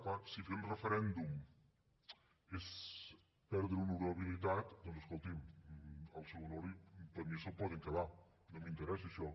clar si fer un referèndum és perdre honorabilitat doncs escolti’m el seu honor per mi ja se’l poden quedar no m’interessa això